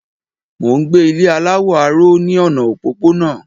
Mò n gbé Ilé aláwọ̀ aró ní ọ̀nà òpópónà